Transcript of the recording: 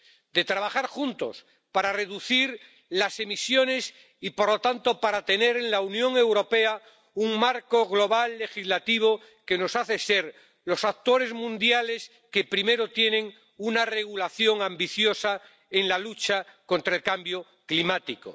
De trabajar juntos para reducir las emisiones y, por lo tanto, para tener en la Unión Europea un marco global legislativo que nos hace ser los actores mundiales que primero tienen una regulación ambiciosa en la lucha contra el cambio climático.